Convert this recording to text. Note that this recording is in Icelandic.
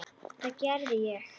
Það gerði ég.